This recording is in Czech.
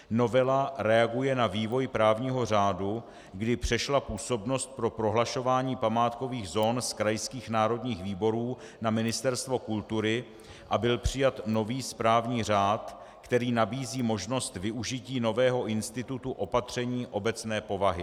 Novela reaguje na vývoj právního řádu, kdy přešla působnost pro prohlašování památkových zón z krajských národních výborů na Ministerstvo kultury a byl přijat nový správní řád, který nabízí možnost využití nového institutu opatření obecné povahy.